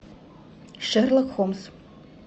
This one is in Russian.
шерлок холмс